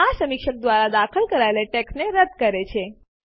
આ સમીક્ષક દ્વારા દાખલ કરાયેલી ટેક્સ્ટને રદ્દ કરે છે